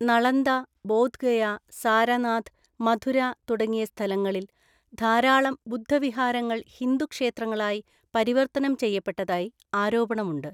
നളന്ദ, ബോധ്ഗയ, സാരനാഥ്, മഥുര തുടങ്ങിയ സ്ഥലങ്ങളിൽ ധാരാളം ബുദ്ധവിഹാരങ്ങൾ ഹിന്ദു ക്ഷേത്രങ്ങളായി പരിവർത്തനം ചെയ്യപ്പെട്ടതായി ആരോപണമുണ്ട്.